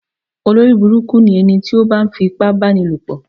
Olórí burúkú ni ẹniti o ba ń fi ipá bá ní lò pọ̀.